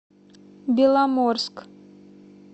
беломорск